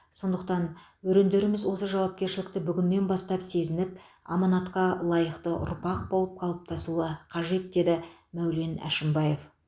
сондықтан өрендеріміз осы жауапкершілікті бүгіннен бастап сезініп аманатқа лайықты ұрпақ болып қалыптасуы қажет деді мәулен әшімбаев